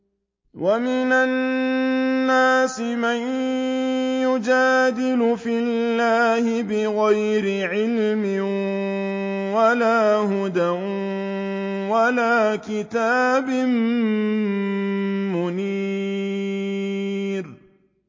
وَمِنَ النَّاسِ مَن يُجَادِلُ فِي اللَّهِ بِغَيْرِ عِلْمٍ وَلَا هُدًى وَلَا كِتَابٍ مُّنِيرٍ